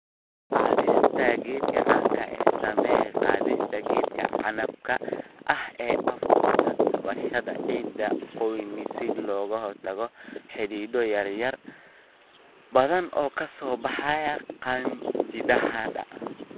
Qaadista geedka canabka ah Samee qaadista geedka canabka ah ee afkoda taabashada ciidda qoyan si looga hortago xididdo yaryar oo badan oo ka soo baxa qanjidhada.